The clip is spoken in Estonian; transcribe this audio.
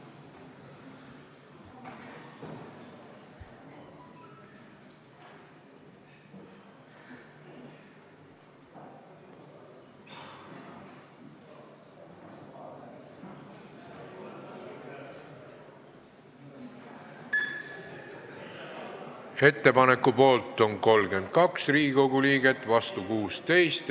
Hääletustulemused Ettepaneku poolt on 32 Riigikogu liiget, vastu 16.